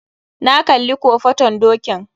Na kalli kofaton dokin